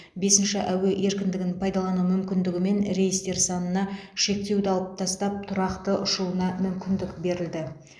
бесінші әуе еркіндігін пайдалану мүмкіндігімен рейстер санына шектеуді алып тастап тұрақты ұшуына мүмкіндік берілді